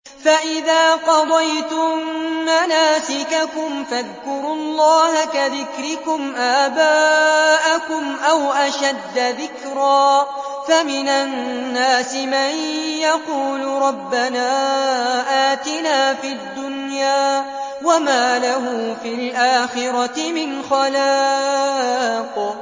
فَإِذَا قَضَيْتُم مَّنَاسِكَكُمْ فَاذْكُرُوا اللَّهَ كَذِكْرِكُمْ آبَاءَكُمْ أَوْ أَشَدَّ ذِكْرًا ۗ فَمِنَ النَّاسِ مَن يَقُولُ رَبَّنَا آتِنَا فِي الدُّنْيَا وَمَا لَهُ فِي الْآخِرَةِ مِنْ خَلَاقٍ